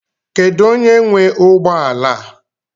Kedụ onye nwe ụgbọala?